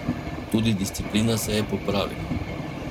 Tudi disciplina se je popravila.